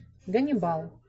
ганибал